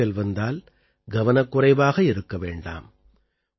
காய்ச்சல் வந்தால் கவனக்குறைவாக இருக்க வேண்டாம்